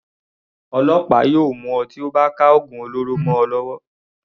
Ọlọ́pàá yóò mú ọ tí wọ́n bá ka ògùn olóró mọ ọ lọ́wọ́.